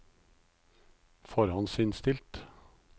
forhåndsinnstilt